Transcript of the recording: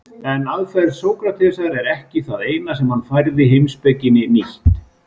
En aðferð Sókratesar er ekki það eina sem hann færði heimspekinni nýtt.